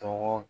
Tɔgɔ